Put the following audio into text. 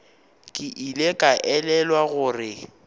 ke ile ka elelwa gore